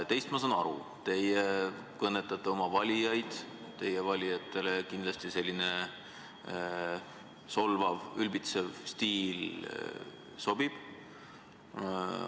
Teist ma saan aru, teie kõnetate oma valijaid, teie valijatele kindlasti selline solvav ja ülbitsev stiil sobib.